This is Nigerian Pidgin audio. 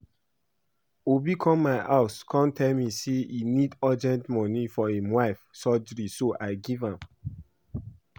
Obi come my house come tell me say he need urgent money for im wife surgery so I give am